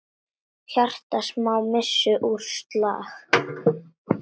Hjarta Smára missti úr slag.